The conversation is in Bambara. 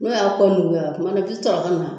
N'o y'a kɔ mu wɛrɛ kuma dɔw bi to a ka na